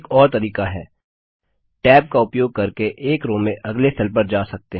एक और तरीका है Tab का उपयोग करके एक रो में अगले सेल पर जा सकते हैं